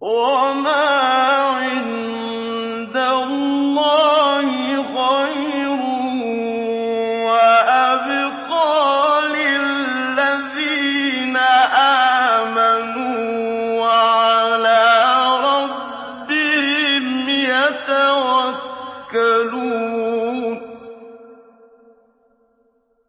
وَمَا عِندَ اللَّهِ خَيْرٌ وَأَبْقَىٰ لِلَّذِينَ آمَنُوا وَعَلَىٰ رَبِّهِمْ يَتَوَكَّلُونَ